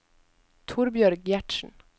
Torbjørg Gjertsen